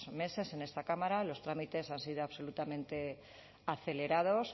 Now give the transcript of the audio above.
meses en esta cámara los trámites han sido absolutamente acelerados